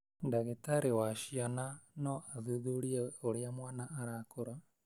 Ndagĩtarĩ wa ciana no athuthurie ũrĩa mwana arakũra,